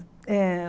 Eh